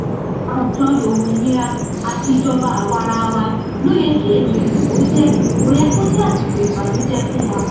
àjọyọ òmìnira àti ìjọba àwaarawa ló yẹ kí ètò ìdìbò jẹ kó yẹ kó jẹ àsìkò ìbànújẹ fún wa